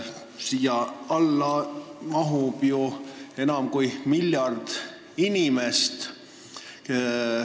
Siia alla käib enam kui miljard inimest.